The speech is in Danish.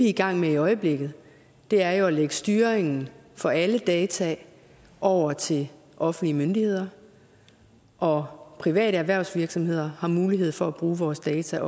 i gang med i øjeblikket er jo at lægge styringen for alle data over til offentlige myndigheder og private erhvervsvirksomheder har også mulighed for at bruge vores data